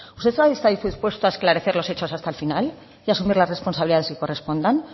usted está hoy dispuesto a esclarecer los hechos hasta el final y asumir las responsabilidades que correspondan